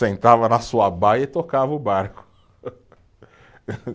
Sentava na sua baia e tocava o barco.